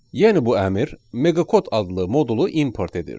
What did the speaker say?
Yəni bu əmr meqa kod adlı modulu import edir.